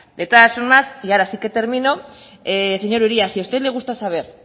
de todas formas y ahora sí que termino señor uria si a usted le gusta saber